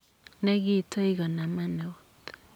ne kitoi konama eut.